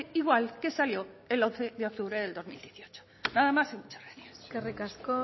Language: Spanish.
igual que salió el once de octubre de dos mil dieciocho nada más y muchas gracias eskerrik asko